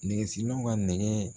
Nɛgɛsilaw ka nɛgɛ